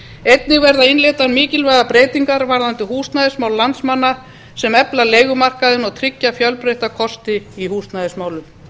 einnig verða innleiddar mikilvægar breytingar um húsnæðismál landsmanna sem efla leigumarkaðinn og tryggja fjölbreytta kosti í húsnæðismálum